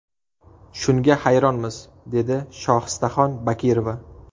Shunga hayronmiz, dedi Shohistaxon Bakirova.